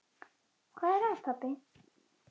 Hvað er að, pabbi?